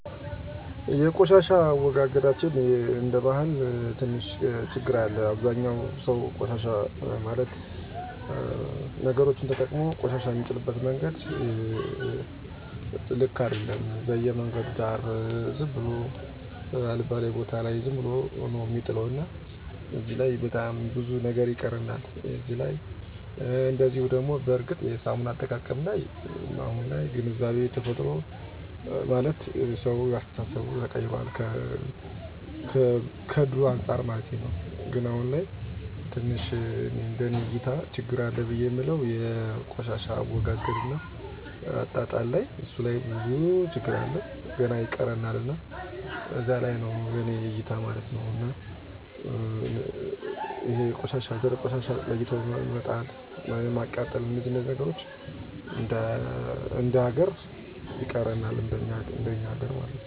መለወጥ ብችል ምለውጠው የቆሻሻ አወጋገድ ችግራችን ነው ደረቁን ከእርጥብ ቆሻሻ በመለየት ጤናችንን መጠበቅ እንድችል ባደርግ ደስ ይለኛል። እየሰራ ያለው የጤና ስርአት አንድ ሰው እጁን በሳሙና በመታጠብ ራሱን ጤናችን ከሚጎዱ ጀርሞች እየተከላከለ ነው ከመፀዳጃ ቤት መልስ እንዲሁም ከውጭ ቆይቶ ሲመጣ እና ምግብ ከመመገቡ በፊት በውሃ እና ሳሙና ይታጠባል። ለምሳሌ ኮሮና ቫይረስ ከተከሰተ በኋላ ሁሉም ለእራሱ ሰው ጥንቃቄ እያደረገ ነው።